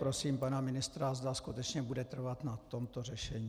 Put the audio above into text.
Prosím pana ministra, zda skutečně bude trvat na tomto řešení.